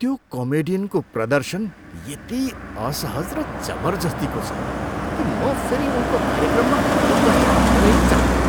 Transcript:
त्यो कमेडियनको प्रदर्शन यति असहज र जबर्जस्तीको छ कि म फेरि उनको कार्यक्रममा उपस्थित हुनै चाहन्नँ।